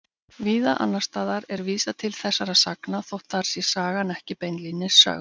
Víða annars staðar er vísað til þessara sagna þótt þar sé sagan ekki beinlínis sögð.